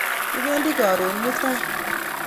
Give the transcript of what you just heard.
Kipendi karon mutai.